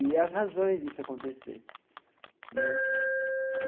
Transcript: E as razões disso acontecer né.